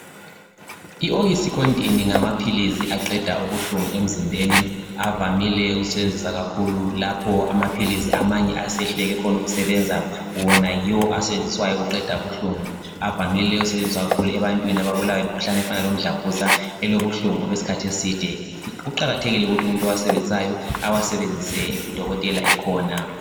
i OxyContin ngamaphilisi aqeda ubuhlungu emzimbeni avamile ukusetshenziswa kakhulu lapho amphilisi amanye aseyehluleke khona ukusebenza wona yiwo asetshenziswayo ukuqeda ubuhlungu avamile ukusetshenziswa kakhulu ebantwini ababulawa ngimkhuhlane ofanana lomdlavuzane elobuhlungu okwesikhathi eside kuqakathekile ukuthi umuntu owasebenzisayo awasebenzise u dokotela ekhona